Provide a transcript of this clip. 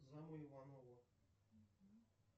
зам у иванова